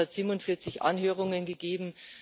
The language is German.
Es hat 47 Anhörungen gegeben.